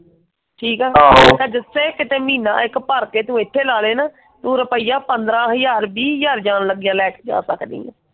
ਠੀਕ ਆ ਤੇ ਜਿਥੇ ਕੀਤੇ ਇੱਕ ਮਹੀਨਾ ਤੂੰ ਭਰ ਕੇ ਇਥੇ ਲਗਾ ਲਏ ਨਾ ਤੂੰ ਰੁਪਈਆ ਪੰਦਰਾਂ ਹਜਾਰ ਵੀਹ ਹਜਾਰ ਜਾਂ ਲਗਿਆਂ ਲੈਕੇ ਗਿਆ ਪਤਾ ਨੀ।